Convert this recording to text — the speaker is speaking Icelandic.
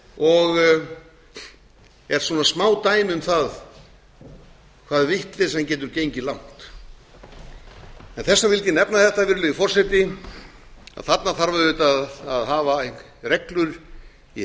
og er smádæmi um það garð vitleysan getur gengið ingi þess vegna vildi ég nefna þetta virðulegi forseti að þarna þarf auðvitað að hafa reglur í heiðri